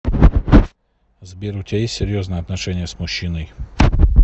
сбер у тебя есть серьезные отношения с мужчиной